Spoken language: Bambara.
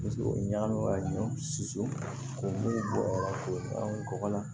Paseke o ye ɲagami ka ɲɔ susu k'o mugu bɔ k'o kɔgɔlan